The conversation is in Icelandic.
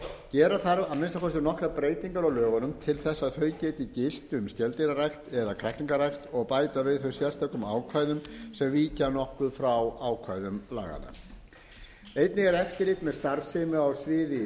gera þarf að minnsta kosti nokkrar breytingar á lögunum til þess að þau geti gilt um skeldýrarækt eða kræklingarækt og bæta við þau sérstökum ákvæðum sem víkja nokkuð frá ákvæðum laganna einnig er eftirlit með starfsemi á sviði